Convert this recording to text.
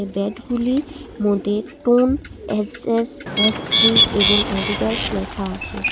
ব্যাটগুলি মদ্যে টন SS SG এবং অ্যাডিডাস লেখা আছে।